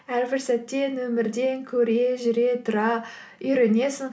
әрбір сәттен өмірден көре жүре тұра үйренесің